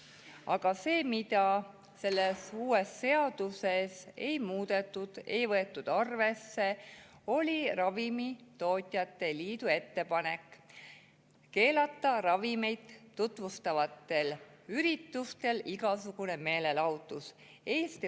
Aga see, mida selles uues seaduses ei muudetud, ei võetud arvesse, oli Ravimitootjate Liidu ettepanek keelata ravimeid tutvustavatel üritustel igasugune meelelahutus.